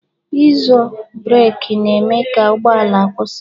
Ịzo breki na-eme ka ụgbọala kwụsị